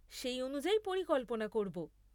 সেই অনুযায়ী পরিকল্পনা করব।